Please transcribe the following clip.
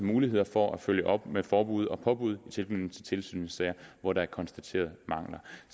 muligheder for at følge op med forbud og påbud i tilknytning til tilsynssager hvor der er konstateret mangler